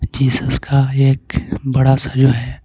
Jesus का एक बड़ा सा जो है.